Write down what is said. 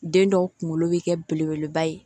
Den dɔw kunkolo bɛ kɛ belebeleba ye